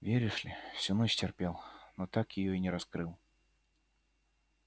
веришь ли всю ночь терпел но так её и не раскрыл